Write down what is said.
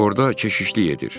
Orda keşişlik edir.